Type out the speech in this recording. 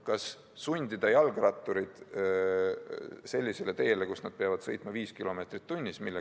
Kas sundida jalgratturid sellisele teele, kus nad peavad sõitma 5 km/h?